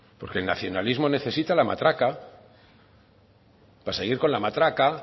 porque el nacionalismo necesita la matraca para seguir con la matraca